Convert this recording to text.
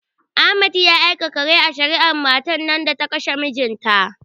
Ahmad ya aka kare a shari'ar matan nan da ta kashe mijinta?